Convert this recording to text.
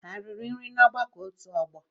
Ha eriri nri n'ọgbakọ otu ọgbọ?